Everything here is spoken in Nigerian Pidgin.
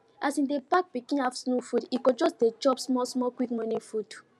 as e dey pack pikin afternoon food e go just dey chop small small quick morning food